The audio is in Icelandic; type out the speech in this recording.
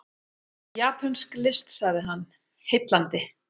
Japönsk list sagði hann, heillandi.